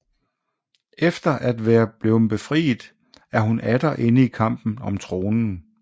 Efter at være blevet befriet er hun atter inde i kampen om tronen